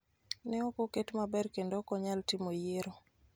ne ok oket maber kendo ok onyal timo yiero